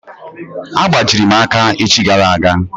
A gbajiri m aka echi gara aga.